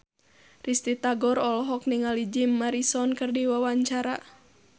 Risty Tagor olohok ningali Jim Morrison keur diwawancara